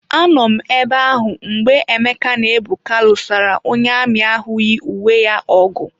Anọ m ebe ahụ mgbe Emeke na Ebuka lụsara onye amị ahụ yi uwe ya ọgụ.